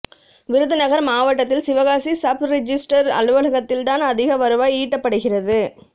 விருதுநகர் மாவட்டத்தில் சிவகாசி சப்ரிஜிஸ்டர் அலுவலகத்தில் தான் அதிக வருவாய் ஈட்டப்படுகிறது